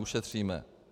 Ušetříme.